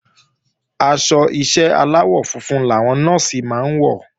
Aṣọ ìṣe aláwọ̀ funfun làwọn Nọ́ọ̀sì máa ń wọ̀